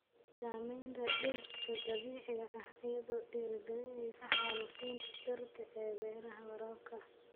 Saamaynta dhirta dabiiciga ah iyadoo dhiirigelinaysa xaalufinta dhirta ee beeraha waraabka ah.